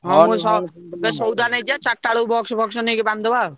ହଁ ମୁଁ ଏବେ ସଉଦା ନେଇଯିବା ଚାରିଟା ବେଳକୁ box ଫକ୍ସ ନେଇକି ବାନ୍ଧିଦବା।